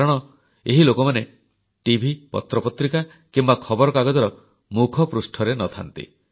କାରଣ ଏହି ଲୋକମାନେ ଟିଭି ପତ୍ରପତ୍ରିକା କିମ୍ବା ଖବରକାଗଜର ମୁଖପୃଷ୍ଠାରେ ନ ଥାନ୍ତି